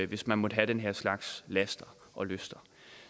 hvis man måtte have den her slags laster og lyster